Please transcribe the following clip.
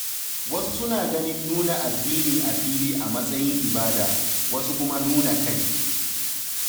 Wasu suna ganin nuna addini a fili a matsayin ibada, wasu kuma nuna kai.